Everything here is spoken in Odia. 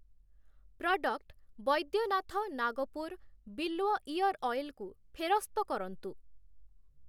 ପ୍ରଡ଼କ୍ଟ୍‌ 'ବୈଦ୍ୟନାଥ ନାଗପୁର ବିଲ୍ୱ ଇଅର୍‌ ଅଏଲ୍‌' କୁ ଫେରସ୍ତ କରନ୍ତୁ ।